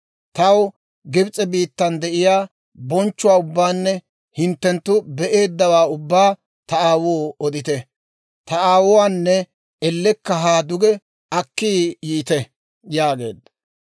Taw Gibs'e biittan de'iyaa bonchchuwaa ubbaanne hinttenttu be'eeddawaa ubbaa ta aawoo odite; ta aawuwaanne ellekka haa duge akki yiite» yaageedda.